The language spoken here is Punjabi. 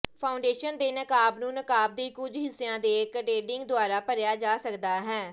ਫਾਊਂਡੇਸ਼ਨ ਦੇ ਨਕਾਬ ਨੂੰ ਨਕਾਬ ਦੇ ਕੁਝ ਹਿੱਸਿਆਂ ਦੇ ਕਡੇਡਿੰਗ ਦੁਆਰਾ ਭਰਿਆ ਜਾ ਸਕਦਾ ਹੈ